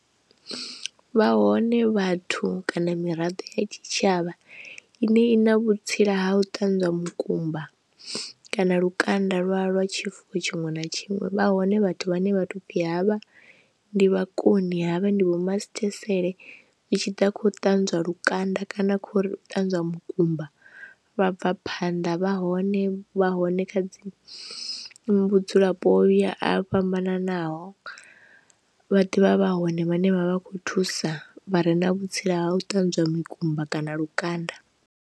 Vha hone vhathu kana miraḓo ya tshitshavha ine i na vhutsila ha u ṱanzwa mukumba kana lukanda lwa lwa tshifuwo tshiṅwe na tshiṅwe, vha hone vhathu vhane vha to fhi havha ndi vhakoni havha ndi vho masithesele zwi tshi ḓa kha u ṱanzwa lukanda kana kha uri ṱanzwa mukumba vha bva phanḓa, vha hone vha hone kha dzi vhudzulapo ya a fhambananaho vha ḓivha vha hone vhane vhavha vha khou thusa vha re na vhutsila ha u ṱanzwa mukumba kana lukanda.